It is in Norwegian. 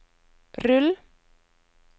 rull